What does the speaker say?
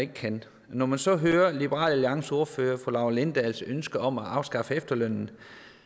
ikke kan når man så hører liberal alliances ordfører fru laura lindahls ønske om at afskaffe efterlønnen